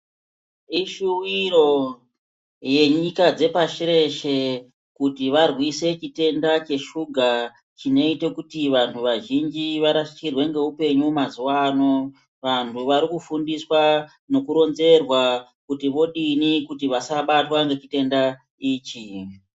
Ishuwiro yenyika dzepashi reshe, kuti varwise chitenda cheshuga, chinoite kuti vanhu vazhinji varasikirwe ngeupenyu mazuwa ano. Vanhu vari kufundiswa, nokuronzerwa kuti vodini kuti vasabatwa ngechitenda ichi.